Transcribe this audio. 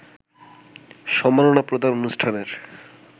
সম্মাননা প্রদান অনুষ্ঠানের